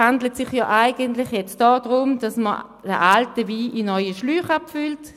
Eigentlich geht es jetzt darum, alten Wein in neue Schläuche abzufüllen.